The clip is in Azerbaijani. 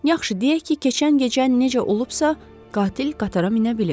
Yaxşı, deyək ki, keçən gecə necə olubsa, qatil qatara minə bilib.